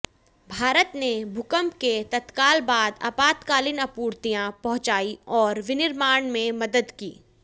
भारत ने भूकंप के तत्काल बाद आपातकालीन आपूर्तियां पहुंचाईं और विनिर्माण में मदद की